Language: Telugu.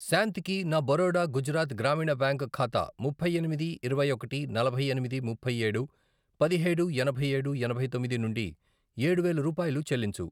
శాంతికి నా బరోడా గుజరాత్ గ్రామీణ బ్యాంక్ ఖాతా ముప్పై ఎనిమిది, ఇరవై ఒకటి, నలభై ఎనిమిది, ముప్పై ఏడు, పదిహేడు, ఎనభై ఏడు, ఎనభై తొమ్మిది, నుండి ఏడు వేలు రూపాయలు చెల్లించు.